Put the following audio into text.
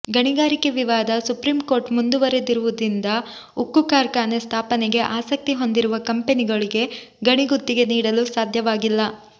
ಗಣಿಗಾರಿಕೆ ವಿವಾದ supreme court ಮುಂದಿರುವುದರಿಂದ ಉಕ್ಕು ಕಾರ್ಖಾನೆ ಸ್ಥಾಪನೆಗೆ ಆಸಕ್ತಿ ಹೊಂದಿರುವ ಕಂಪೆನಿಗಳಿಗೆ ಗಣಿ ಗುತ್ತಿಗೆ ನೀಡಲು ಸಾಧ್ಯವಾಗಿಲ್ಲ